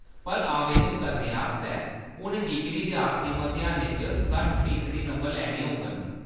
पर आवेदन करने आस्तै, हुन डिग्री दे आखरी मतेहानै च सट्ठ फीसदी नंबर लैने होङन।